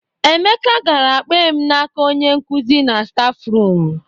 Emeka gara kpee m n'aka onye nkuzi na stafrum.